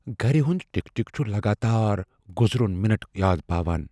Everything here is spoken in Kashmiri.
گرِ ہٗند ٹِك ٹِك چھٗ لگاتار گٗزروٗن مِنٹ یاد پاوان ۔